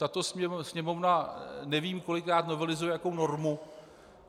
Tato Sněmovna nevím kolikrát novelizuje jakou normu.